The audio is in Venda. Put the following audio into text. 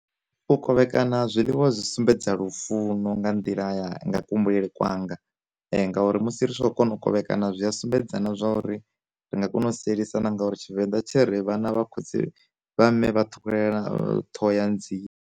U kovhekana zwiḽiwa zwi sumbedza lufuno nga nḓila nga kuhumbulele kwanga, ngauri musi ri tshi khou kona u kovhekana zwi a sumbedza na zwa uri ri nga kona u sielisana ngauri tshivenḓa tshi ri vhana vha khotsi vha mme vha thukhulelana thoho ya nzie.